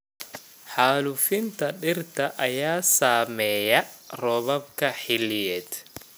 Xaalufinta dhirta ayaa saameeya roobabka xilliyeed.